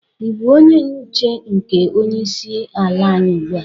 Ị bụ onye nche nke onye isi ala anyi ugbu a?